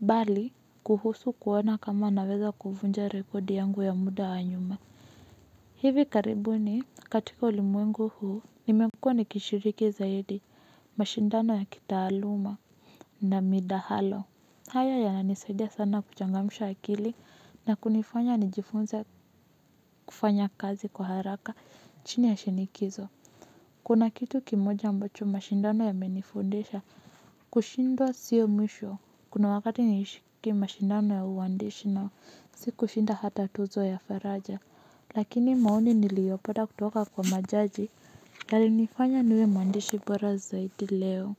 bali kuhusu kuona kama naweza kuvunja rekodi yangu ya muda wa nyuma. Hivi karibuni katika ulimwengu huu nimekua nikishiriki zaidi mashindano ya kitaaluma na midahalo. Haya yananisaidia sana kuchangamsha akili na kunifanya nijifunze kufanya kazi kwa haraka chini ya shinikizo. Kuna kitu kimoja ambacho mashindano yamenifundisha. Kushindwa siyo misho. Kuna wakati nilishiriki mashindano ya uandishi na. Sikushinda hata tuzo ya faraja. Lakini maoni niliyopata kutoka kwa majaji yalinifanya niwe mwandishi bora zaidi leo.